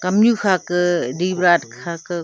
kamnu kha ke kha ke.